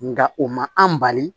Nka o ma an bali